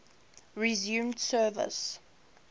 resumed service